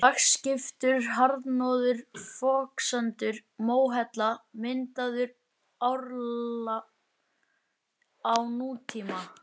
Lagskiptur harðnaður foksandur, móhella, myndaður árla á nútíma.